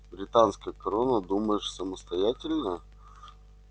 британская корона думаешь самостоятельная